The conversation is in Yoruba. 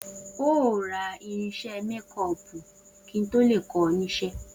O óò ra irins̩é̩ mékó̩ò̩pù kí n tó lè kó̩ o̩ nís̩̩é̩